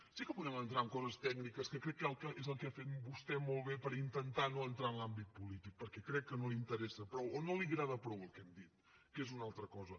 sí que podem entrar en coses tècniques que crec que és el que ha fet vostè molt bé per intentar no entrar en l’àmbit polític perquè crec que no li interessa prou o no li agrada prou el que hem dit que és una altra cosa